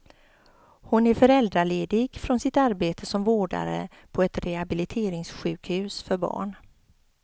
Hon är föräldraledig från sitt arbete som vårdare på ett rehabiliteringssjukhus för barn.